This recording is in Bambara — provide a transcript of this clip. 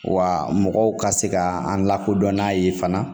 Wa mɔgɔw ka se ka an lakodɔn n'a ye fana